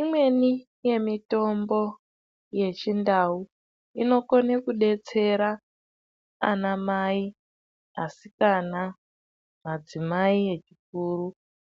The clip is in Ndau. Imweni yemitombo yechiNdau inokone kudetsera anamai, asikana, madzimai echikuru